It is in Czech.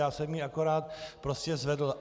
Já jsem ji akorát prostě zvedl.